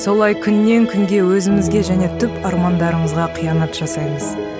солай күннен күнге өзімізге және түп армандарымызға қиянат жасаймыз